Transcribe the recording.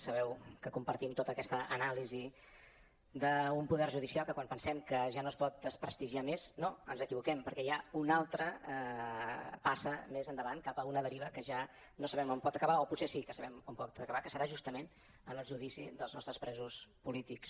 sabeu que compartim tota aquesta anàlisi d’un poder judicial que quan pensem que ja no es pot desprestigiar més no ens equivoquem perquè hi ha una altra passa més endavant cap a una deriva que ja no sabem on pot acabar o potser sí que sabem on pot acabar que serà justament en el judici dels nostres presos polítics